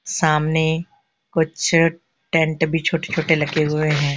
सामने कुछ टेंट भी छोटे छोटे लगे हुए हैं।